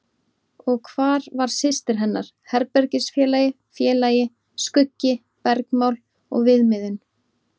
Og hvar var systir hennar, herbergisfélagi, félagi, skuggi, bergmál og viðmiðun?